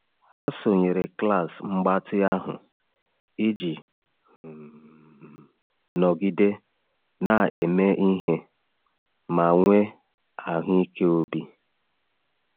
Ha sonyere klas mgbatị ahụ iji um nọgide na-eme ihe ma nwee ahụike obi.